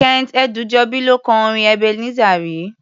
Kent Ẹdúnjọbí ló kọ orin Ẹbeneseri.